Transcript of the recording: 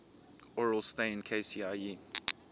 aurel stein kcie